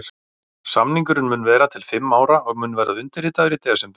Samningurinn mun vera til fimm ára og mun verða undirritaður í desember.